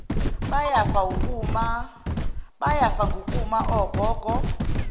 bayafa wukuma ogogo